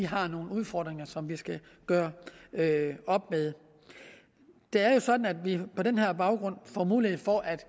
har nogle udfordringer som vi skal gøre op med det er jo sådan at vi på den her baggrund får mulighed for at